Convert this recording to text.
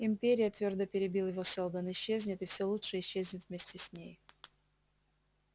империя твёрдо перебил его сэлдон исчезнет и все лучше исчезнет вместе с ней